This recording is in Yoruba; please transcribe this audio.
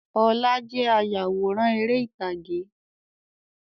Ọlá jẹ́ ayawòrán ère ìtàgé.